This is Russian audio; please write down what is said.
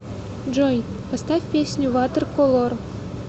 джой поставь песню ватерколор